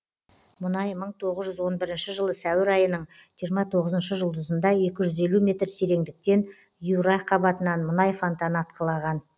мұнай мың тоғыз жүз он бірінші жылы сәуір айынын жиырма тоғызыншы жұлдызында екі жүз елу метр тереңдіктен юра қабатынан мұнай фантаны атқылаған